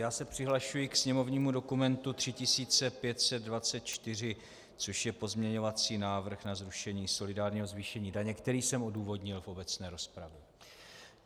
Já se přihlašuji k sněmovnímu dokumentu 3524, což je pozměňovací návrh na zrušení solidárního zvýšení daně, který jsem odůvodnil v obecné rozpravě.